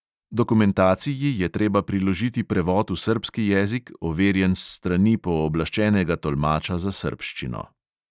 Dokumentaciji je treba priložiti prevod v srbski jezik, overjen s strani pooblaščenega tolmača za srbščino.